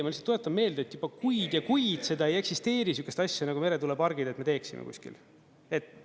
Ma lihtsalt tuletan meelde, et juba kuid ja kuid seda ei eksisteeri, sihukest asja nagu meretuulepargid, et me teeksime kuskil.